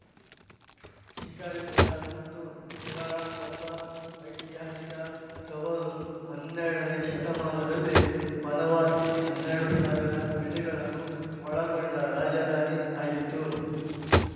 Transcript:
ಶಿಕಾರಿಪುರ ಮತ್ತು ಶಿರಾಳಕೊಪ್ಪ ಐತಿಹಾಸಿಕ ತವರು ಹನ್ನೆರಡನೇ ಶತಮಾನದಲ್ಲಿ ಬನವಾಸಿ ಹನ್ನೆರಡು ಸಾವಿರ ಹಳ್ಳಿಗಳನ್ನು ಒಳಗೊಂಡ ರಾಜದಾನಿ ಆಗಿತ್ತು